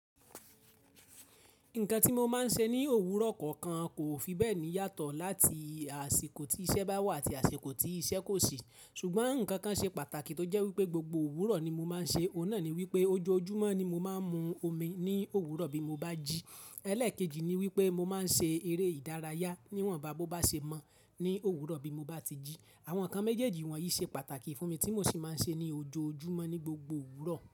Nǹkan tí mo máa ń ṣe ní òwúrọ̀ kọ̀ọ̀kan kò fi bẹ́ẹ̀ ní yàtọ̀ láti àsìkò tí iṣẹ́ bá wà àti àsìkò tí iṣẹ́ kò sí ṣùgbọ́n ǹkan kan ṣe pàtàkì tó jẹ́ wípé gbogbo òwúrọ̀ ní mo máa ń ṣe, òun náà ni wípé ojoojúmọ́ ni mo máa ń mu omi ní òwúrọ̀ bí mo bá jí. Ẹ̀lẹ́ẹ̀kejì ni wípé mo máa ń ṣe eré ìdárayá níwọ̀nba bó bá ṣe mọ́ ní òwúrọ̀ bí mo bá ti jí. Àwọn ǹkan méjèèjì wọ̀nyí ṣe pàtàkì fún mi tí mo sì máa ń ṣe é ní ojoojúmọ́ ní gbogbo òwúrọ̀